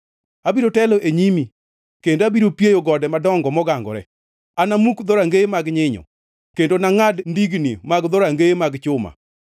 Abiro telo e nyimi kendo abiro pieyo gode madongo mogangore; anamuk dhorangeye mag nyinyo kendo anangʼad ndigni mag dhorangeye mag chuma.